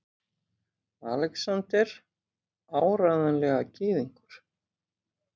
ALEXANDER: Áreiðanlega gyðingur!